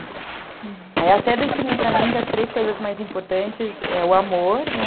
Aí eu até defini para mim que as três coisas mais importantes é o amor, né?